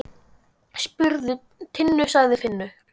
Spurðu Tinnu, sagði Finnur.